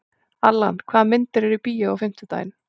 Allan, hvaða myndir eru í bíó á fimmtudaginn?